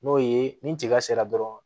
N'o ye ni tiga sera dɔrɔn